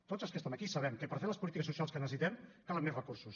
tots els que estem aquí sabem que per fer les polítiques socials que necessitem calen més recursos